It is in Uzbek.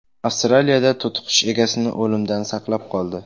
Avstraliyada to‘tiqush egasini o‘limdan saqlab qoldi.